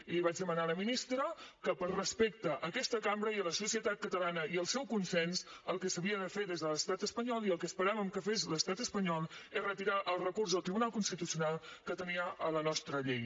i li vaig demanar a la ministra que per respecte a aquesta cambra i a la societat catalana i al seu consens el que s’havia de fer des de l’estat espanyol i el que esperàvem que fes l’estat espanyol és retirar el recurs al tribunal constitucional que tenia a la nostra llei